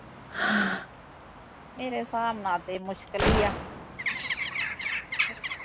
ਮੇਰੇ ਹਿਸਾਬ ਨਾਲ਼ ਤੇ ਮੁਸਕਿਲ ਈ ਆ